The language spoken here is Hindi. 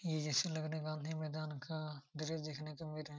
ये जैसे लग रहा है गांधी मैदान का दृश्य देखने को मिल रहा हैं।